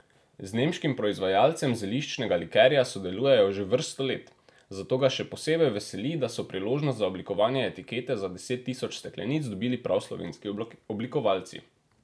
Z nemškim proizvajalcem zeliščnega likerja sodelujejo že vrsto let, zato ga še posebej veseli, da so priložnost za oblikovanje etikete za deset tisoč steklenic dobili prav slovenski oblikovalci.